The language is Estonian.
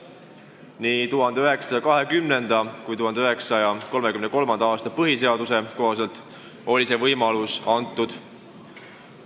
Nii 1920. kui ka 1933. aasta põhiseaduse kohaselt oli see võimalus olemas.